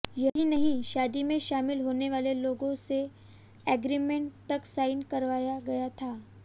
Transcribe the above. यही नहीं शादी में शामिल होने वाले लोगों से एग्रीमेंट तक साइन कराया गया था